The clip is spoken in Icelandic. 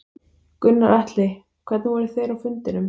Gunnar Atli: Hvernig voru þeir á fundinum?